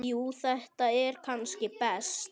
Jú þetta er kannski best.